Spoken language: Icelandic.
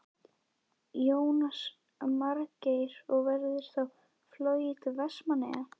Jónas Margeir: Og verður þá flogið til Vestmannaeyja?